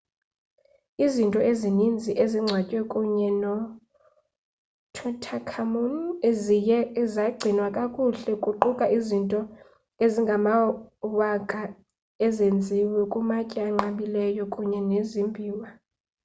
izinto ezininzi ezingcwatywe kunye notutankhamun ziye zagcinwa kakuhle kuquka izinto ezingamawaka ezenziwe ngamatye anqabileyo kunye nezimbiwa